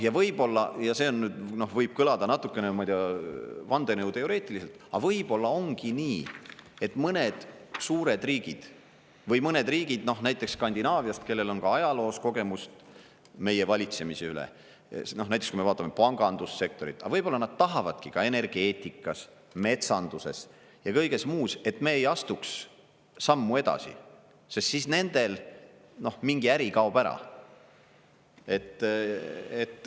Ja võib-olla – see võib kõlada natukene vandenõuteoreetiliselt –, aga võib-olla ongi nii, et mõned suured riigid või mõned riigid, näiteks Skandinaaviast, kellel on ka ajaloos kogemus meie valitsemise üle – näiteks kui me vaatame pangandussektorit –, aga võib-olla nad tahavadki ka energeetikas, metsanduses ja kõiges muus, et me ei astuks sammu edasi, sest siis nendel mingi äri kaob ära.